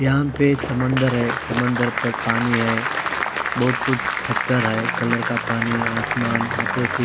यहां पर समंदर है। समंदर पर पानी है। बहोत कुछ पत्थर है कलर का पानी। आसमान है।